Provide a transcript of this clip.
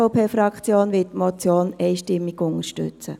Die SVP-Fraktion wird die Motion einstimmig unterstützen.